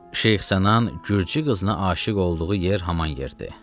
Şeyx Sənan gürcü qızına aşiq olduğu yer haman yerdir.